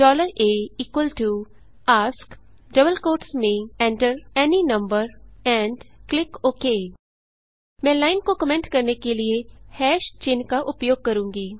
aask within double quotes enter any number and click okay मैं line को comment करने के लिए hash चिन्ह का उपयोग करूँगी